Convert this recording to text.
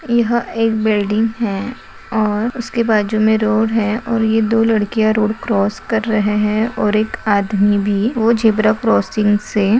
यह एक बिल्डिंग है और उसके बाजू में रोड है और यह दो लड़कियां रोड क्रॉस कर रहे हैं और एक आदमी भी वो झेब्रा क्रॉसिंग से --